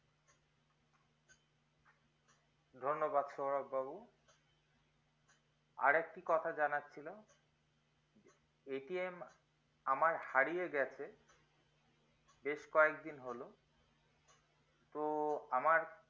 ধন্যবাদ সৌরভ বাবু আর একটি কথা জানার ছিল আমার হারিয়ে গেছে বেশ কয়েকদিন হলো তো আমার